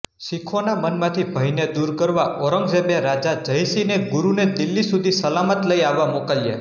શીખોના મનમાંથી ભયને દૂર કરવા ઔરંગઝેબે રાજા જયસિંહને ગુરુને દીલ્હી સુધી સલામત લઈ આવવા મોકલ્યાં